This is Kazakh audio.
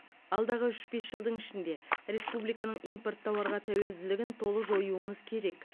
алдағы үш бес жылдың ішінде республиканың импорт тауарға тәуелділігін толық жоюымыз керек